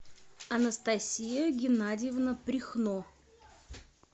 анастасия геннадьевна прихно